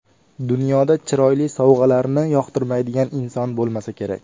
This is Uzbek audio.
Dunyoda chiroyli sovg‘alarni yoqtirmaydigan inson bo‘lmasa kerak.